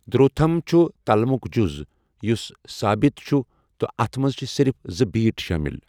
دھروتھم چھُ تلمُک جُز یُس سابِت چھُ تہٕ اَتھ منٛز چھِ صرف زٕ بیٖٹ شٲمِل۔